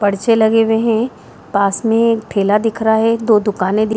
पर्चे लगे हुए हैं पास में एक ठेला दिख रहा है दो दुकाने दि --